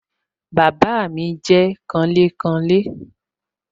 Bàbá mi jẹ́ kanlékanlé